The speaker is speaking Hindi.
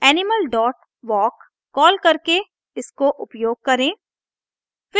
animal dot walk कॉल करके इसको उपयोग करें